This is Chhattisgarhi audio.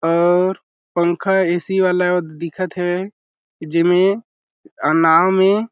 और पंखा ऐ.सी. वाला दिखत हेवे जेमे अ नाव में --